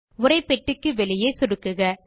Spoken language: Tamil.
உரைப்பெட்டிக்கு வெளியே சொடுக்குக